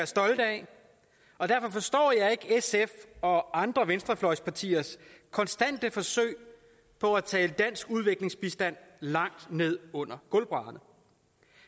stolte af og derfor forstår jeg ikke sfs og andre venstrefløjspartiers konstante forsøg på at tale dansk udviklingsbistand langt ned under gulvbrædderne